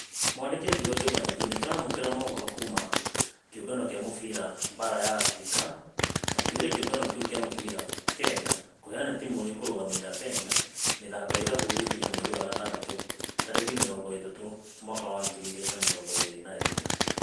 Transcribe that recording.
Mwandĩko ũkiuga kĩũngano nĩ ĩramũkĩra mohoro kuuna kĩũngano gĩa mũbira baara ya africa makĩoria kĩũngano gĩa mũbira kenya kũheana timũ ĩkũrũgamĩrira kenya. Mĩthako ya irabu gũgĩkinya mweri wa gatandatũ tarĩki mĩrongo ĩtatũ mwaka wa ngiri igĩrĩ na mĩrongo ĩrĩ na ĩmwe.